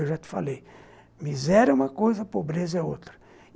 Eu já te falei, miséria é uma coisa, pobreza é outra.